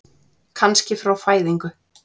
Kannski frá fæðingu.